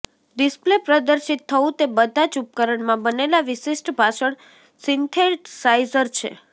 display પ્રદર્શિત થવું તે બધા જ ઉપકરણમાં બનેલા વિશિષ્ટ ભાષણ સિન્થેસાઇઝર છે